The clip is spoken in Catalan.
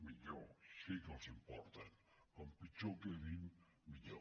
millor sí que els importen com pitjor quedin millor